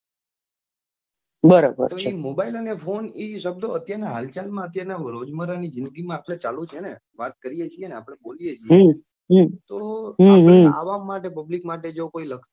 તો એ mobile અને ફોન એ શબ્દો અત્યાર ના હલચલ માં રોજ બાર ની જીંદગી માં આપડે ચાલે છે ને વાત કરીએ છીએ આપડે બોલીએ છીએ ને તો આપણી આવામ માટે public માટે લખતું.